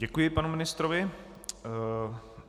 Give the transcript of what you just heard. Děkuji panu ministrovi.